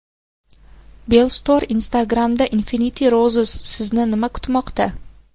Bellstore Instagram’da Infinity Roses Sizni nima kutmoqda?